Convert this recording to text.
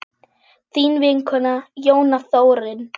Þín vinkona Jóna Þórunn.